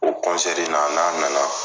O kɔnsɛri in na n'an nana